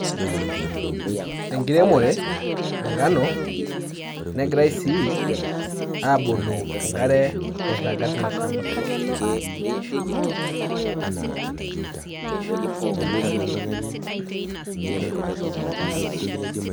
Enkiremore enkano negirae sii aboloo enkare nairaga teilo shamba.